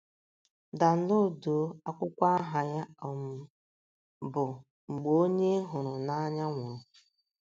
Danloduo akwụkwọ aha ya um bụ “ Mgbe Onye Ị Hụrụ n’Anya Nwụrụ. ”